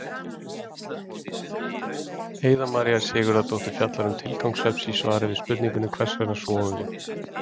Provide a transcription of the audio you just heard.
Heiða María Sigurðardóttir fjallar um tilgang svefns í svari við spurningunni Hvers vegna sofum við?